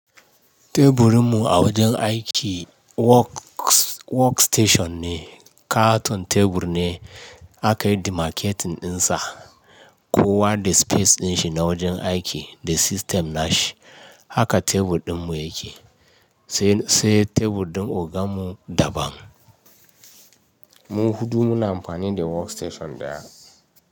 Teburin mu a wajen aiki work station ne. Katon tebur ne aka yi dimaketin dinsa. Kowa da space din shi na wajen aiki da system na shi. Haka tebur ɗin mu yake, sai tebur ɗin ogan mu daban. Mu huɗu muna amfani da work station ɗaya.